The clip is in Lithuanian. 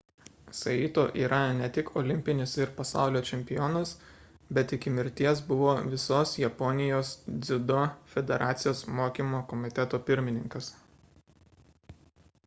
saito yra ne tik olimpinis ir pasaulio čempionas bet iki mirties buvo visos japonijos dziudo federacijos mokymo komiteto pirmininkas